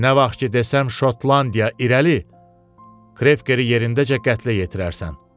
Nə vaxt ki, desəm Şotlandiya irəli, Krekeri yerindəcə qətlə yetirərsən.